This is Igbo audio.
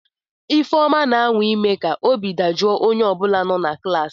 Ifeoma, na-anwa ime ka obi dajụọ onye ọ bụla nọ na klaasị.